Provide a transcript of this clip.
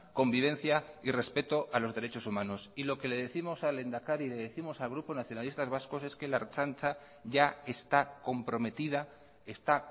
convivencia y respeto a los derechos humanos y lo que le décimos al lehendakari le décimos al grupo nacionalistas vascos es que la ertzaintza ya está comprometida está